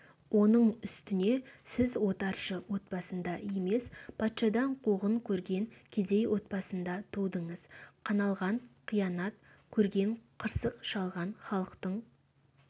оның үстіне сіз отаршы отбасында емес патшадан қуғын көрген кедей отбасында тудыңыз қаналған қиянат көрген қырсық шалған халықтың